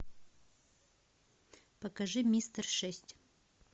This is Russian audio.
покажи мистер шесть